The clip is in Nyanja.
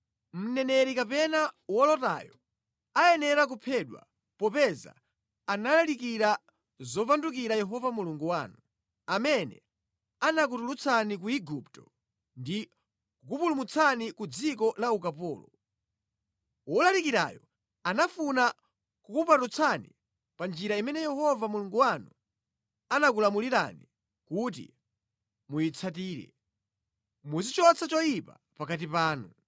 Mneneri kapena wolotayo ayenera kuphedwa, popeza analalikira zopandukira Yehova Mulungu wanu, amene anakutulutsani ku Igupto ndi kukupulumutsani ku dziko la ukapolo. Wolalikirayo anafuna kukupatutsani pa njira imene Yehova Mulungu wanu anakulamulirani kuti muyitsatire. Muzichotsa choyipa pakati panu.